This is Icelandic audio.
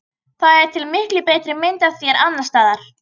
Það er til miklu betri mynd af þér annars staðar.